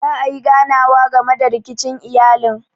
Za ayi ganawa game da rikicin iyalin.